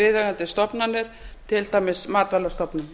viðeigandi stofnanir til dæmis matvælastofnun